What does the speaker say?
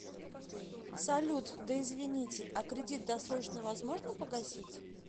салют да извините а кредит досрочно возможно погасить